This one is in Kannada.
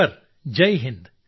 ಸರ್ ಜೈ ಹಿಂದ್